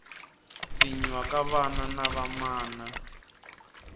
pfinyiwa ka vana na vamana